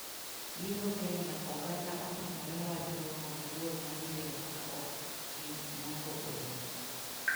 Yiero Kenya: Oganda otamore wach romo giduol mar yiero ka ok gi nyango olemo.